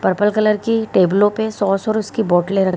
purple colour की टेबलो पे सॉस और उसकी बोटले --